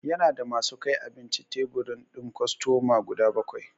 Ya na da ma su kai abinci tebur din kostoma guda bakwai.